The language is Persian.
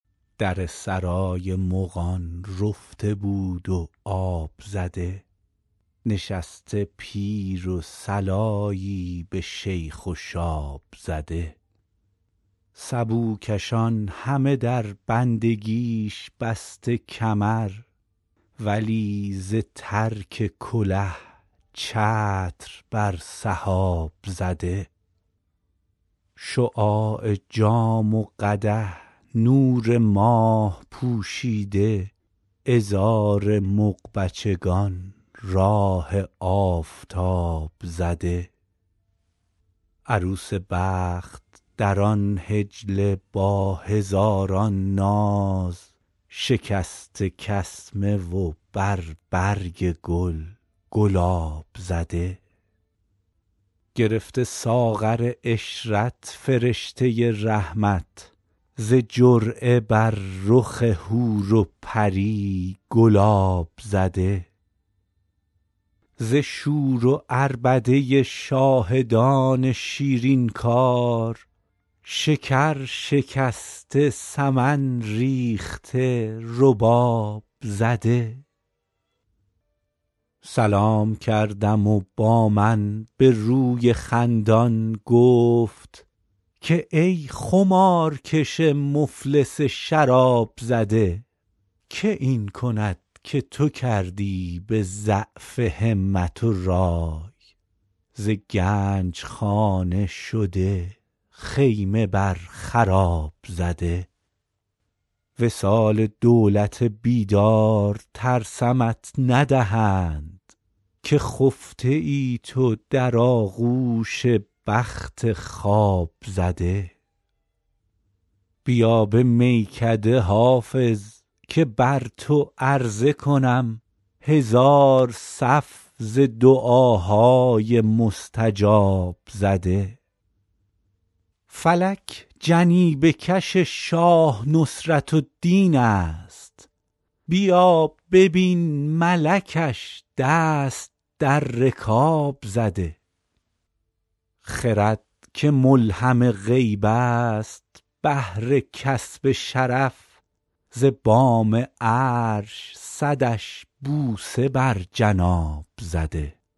در سرای مغان رفته بود و آب زده نشسته پیر و صلایی به شیخ و شاب زده سبوکشان همه در بندگیش بسته کمر ولی ز ترک کله چتر بر سحاب زده شعاع جام و قدح نور ماه پوشیده عذار مغ بچگان راه آفتاب زده عروس بخت در آن حجله با هزاران ناز شکسته کسمه و بر برگ گل گلاب زده گرفته ساغر عشرت فرشته رحمت ز جرعه بر رخ حور و پری گلاب زده ز شور و عربده شاهدان شیرین کار شکر شکسته سمن ریخته رباب زده سلام کردم و با من به روی خندان گفت که ای خمارکش مفلس شراب زده که این کند که تو کردی به ضعف همت و رای ز گنج خانه شده خیمه بر خراب زده وصال دولت بیدار ترسمت ندهند که خفته ای تو در آغوش بخت خواب زده بیا به میکده حافظ که بر تو عرضه کنم هزار صف ز دعاهای مستجاب زده فلک جنیبه کش شاه نصرت الدین است بیا ببین ملکش دست در رکاب زده خرد که ملهم غیب است بهر کسب شرف ز بام عرش صدش بوسه بر جناب زده